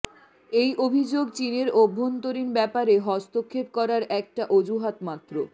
এই অভিযোগ চীনের অভ্যন্তরীণ ব্যাপারে হস্তক্ষেপ করার একটা অজুহাত মাত্র